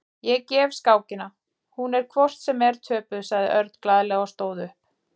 Ég gef skákina, hún er hvort sem er töpuð, sagði Örn glaðlega og stóð upp.